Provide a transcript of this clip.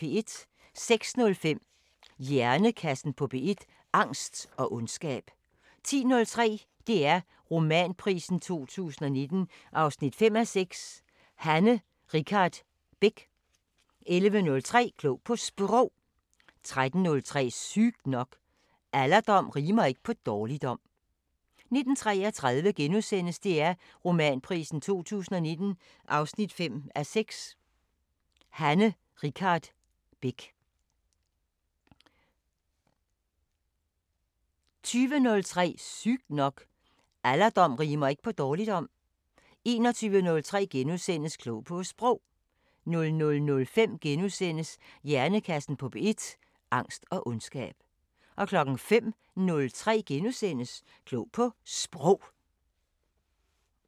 06:05: Hjernekassen på P1: Angst og ondskab 10:03: DR Romanprisen 2019 5:6 – Hanne Richardt Beck 11:03: Klog på Sprog 13:03: Sygt nok: Alderdom rimer ikke på dårligdom 19:33: DR Romanprisen 2019 5:6 – Hanne Richardt Beck * 20:03: Sygt nok: Alderdom rimer ikke på dårligdom 21:03: Klog på Sprog * 00:05: Hjernekassen på P1: Angst og ondskab * 05:03: Klog på Sprog *